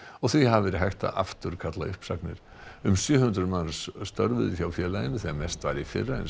og því hafi verið hægt að afturkalla uppsagnir um sjö hundruð manns störfuðu hjá félaginu þegar mest var í fyrra en